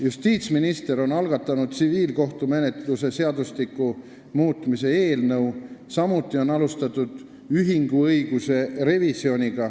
Justiitsminister on algatanud tsiviilkohtumenetluse seadustiku muutmise seaduse eelnõu, samuti on alustatud ühinguõiguse revisjoni.